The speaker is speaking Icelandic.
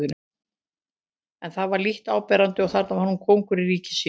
En það var lítt áberandi og þar var hann kóngur í ríki sínu.